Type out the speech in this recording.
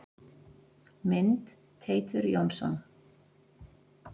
Mynd: Teitur Jónsson.